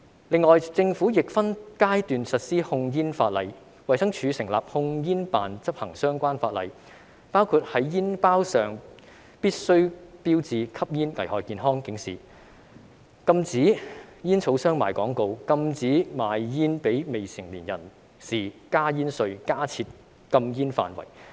此外，政府亦分階段實施控煙法例，衞生署成立控煙酒辦公室執行相關法例，包括在煙包上必須標示吸煙危害健康的警示、禁止煙草商賣廣告、禁止賣煙給未成年人士、增加煙稅、加設禁煙範圍。